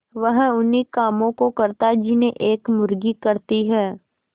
वह उन्ही कामों को करता जिन्हें एक मुर्गी करती है